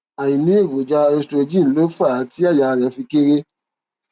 àìní èròjà estrogen ló fà á tí àyà rẹ fi kééré